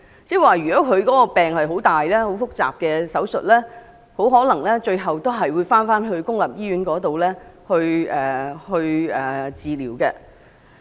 即如果患病者需要接受複雜的手術，最終可能也會返回公營醫院接受治療。